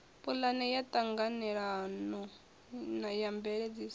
pulane ya ṱhanganelano ya mveledziso